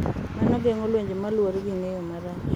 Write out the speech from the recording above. Mano geng’o lwenje ma luwore gi ng’eyo marach .